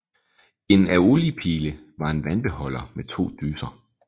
En Aeolipile var en vandbeholder med to dyser